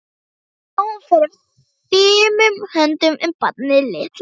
Hvað hún fer fimum höndum um barnið litla.